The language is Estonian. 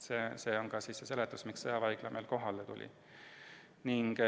See ühtlasi seletab, miks sõjaväehaigla kohale tuli.